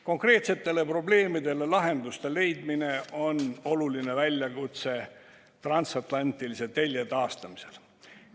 Konkreetsetele probleemidele lahenduse leidmine on oluline väljakutse transatlantilise telje taastamisel.